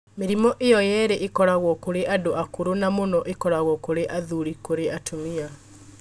Mĩrimũ ĩyo yerĩ ĩkoragwo kũrĩ andũ akũrũ na mũno ĩkoragwo kũrĩ athuri kũrĩ atumia